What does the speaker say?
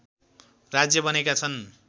राज्य बनेका छन्